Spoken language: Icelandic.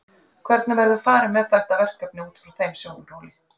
Hvernig verður farið með þetta verkefni út frá þeim sjónarhóli?